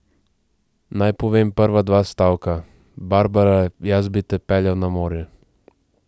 Naj povem prva dva stavka: 'Barbara, jaz bi te peljal na morje.